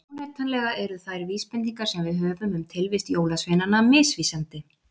Óneitanlega eru þær vísbendingar sem við höfum um tilvist jólasveinanna misvísandi.